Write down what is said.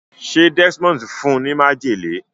ṣe Desmond fún ní májèlé?